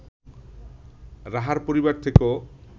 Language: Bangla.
রাহার পরিবার থেকেও